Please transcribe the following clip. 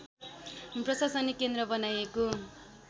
प्रशासनिक केन्द्र बनाइएको